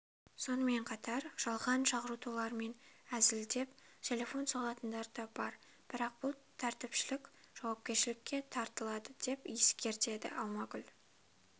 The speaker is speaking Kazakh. сонымен қатар жалған шақыртулармен әзілдеп телефон соғатындарда бар бірақ бұл тәртіпшілік жауапкершілікке тартылады деп ескертеді алмагүл